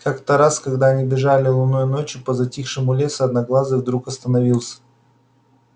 как то раз когда они бежали лунной ночью по затихшему лесу одноглазый вдруг остановился